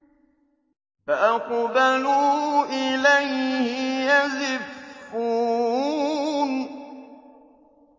فَأَقْبَلُوا إِلَيْهِ يَزِفُّونَ